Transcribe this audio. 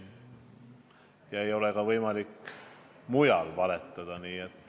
Ja ei ole võimalik ka mujal valetada.